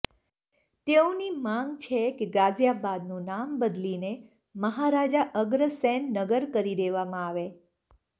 તેઓની માગ છે કે ગાઝિયાબાદનું નામ બદલીને મહારાજા અગ્રસેન નગર કરી દેવામાં આવે